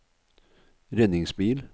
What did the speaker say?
redningsbil